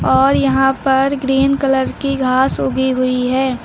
और यहां पर ग्रीन कलर की घास उगी हुई है।